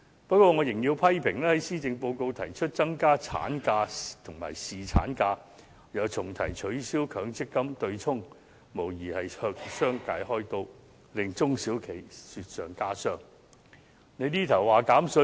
不過，我仍要批評施政報告提出增加產假和侍產假，又重提取消強積金對沖，無疑是向商界"開刀"，令中小型企業雪上加霜。